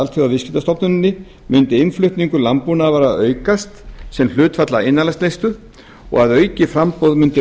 alþjóðaviðskiptastofnuninni mundi innflutningur landbúnaðarvara aukast sem hlutfall af innanlandsneyslu og að aukið framboð mundi